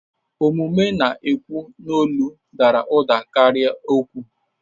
Omume na-ekwu n'olu dara ụda karịa okwu.